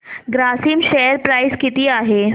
Grasim share price किती आहे